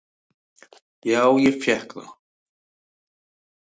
"""Já, ég fékk það."""